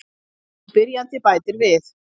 Spyrjandi bætir við:.